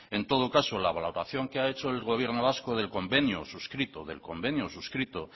en todo caso la valoración que ha hecho el gobierno vasco del convenio suscrito del convenio suscrito